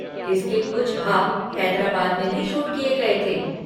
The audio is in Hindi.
इसके कुछ भाग हैदराबाद में भी शूट किए गए थे।